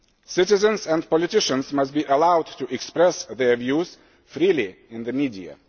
Citizens and politicians must be allowed to express their views freely in the media.